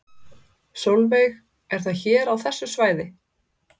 Sólveig: Er það hér á þessu svæði?